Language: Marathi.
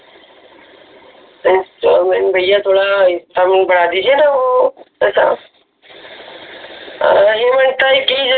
installment भैया थोडा installment बढा दिजिये ना वो पचास हे म्हणत आहे कि